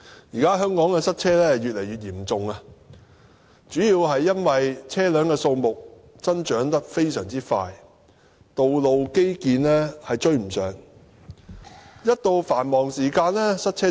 現在香港塞車問題越來越嚴重，主要因為車輛數目增長迅速、道路基建追不上，在繁忙時間嚴重塞車。